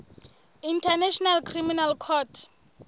international criminal court